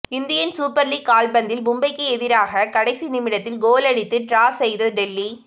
Indian Super League கால்பந்தில் மும்பைக்கு எதிராக கடைசி நிமிடத்தில் கோல் அடித்து டிரா செய்தது டெல்லி